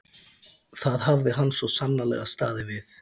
Það hafði hann svo sannarlega staðið við.